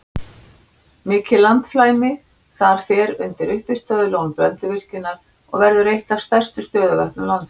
Mikið landflæmi þar fer undir uppistöðulón Blönduvirkjunar og verður eitt af stærstu stöðuvötnum landsins.